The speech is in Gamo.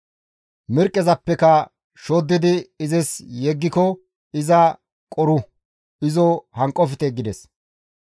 Mirqqezappeka shoddidi izis yeggiko iza qoru; izo hanqofte» gides.